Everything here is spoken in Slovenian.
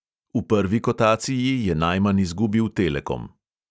V prvi kotaciji je najmanj izgubil telekom.